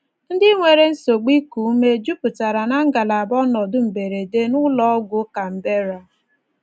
Ndị nwere nsogbu iku ume jupụtara ná ngalaba ọnọdụ mberede n’Ụlọ Ọgwụ Canberra.